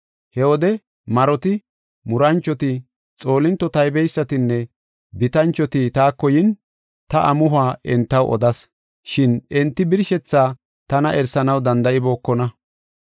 He wode maroti, muranchoti, xoolinto taybeysatinne bitanchoti taako yin, ta amuhuwa entaw odas; shin enti birshethaa tana erisanaw danda7ibookona.